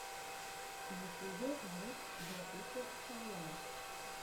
в ютубе влог блэкуфа хайлайтс